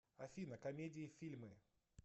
афина комедии фильмы